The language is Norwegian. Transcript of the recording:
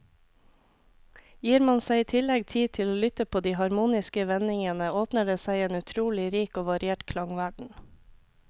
Gir man seg i tillegg tid til å lytte på de harmoniske vendingene, åpner det seg en utrolig rik og variert klangverden.